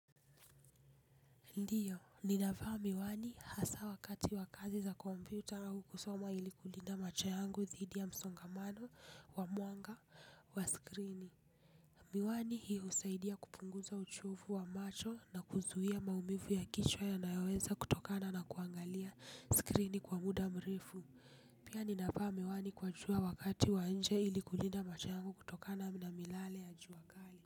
Ndiyo, ninavaa miwani hasa wakati wa kazi za computer, au kukusoma ili kulinda macho yangu dhidi ya msongamano wa mwanga wa skrini. Miwani hiyo husaidia kupunguza uchofu wa macho, na kuzuhia maumivu ya kichwa yanayoweza kutokana na kuangalia skrini kwa muda mrefu. Pia ninavaa miwani kwa jua wakati wa nje ili kulinda macho yangu kutokana na miyale ya jua kali.